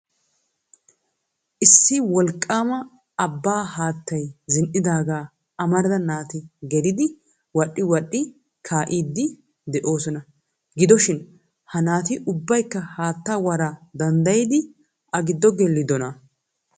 Issi wolqqaama abbaa haattay zin"idaaga amarida naati gelidi wodhdhi wadhdhi kaa'idi de'oosona. Gidoshin ha naati ubbaykka haattaa waraa danddayyidi a giddo gelidoona?